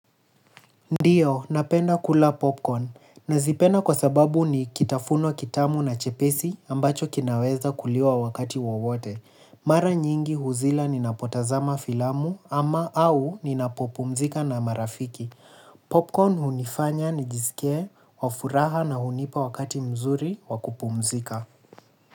Ndiyo, napenda kula popcorn. Nazipenda kwa sababu ni kitafuno kitamu na chepesi ambacho kinaweza kuliwa wakati wowote. Mara nyingi huzila ninapotazama filamu ama au ninapopumzika na marafiki. Popcorn hunifanya nijisikie wafuraha na hunipa wakati mzuri wakupumzika.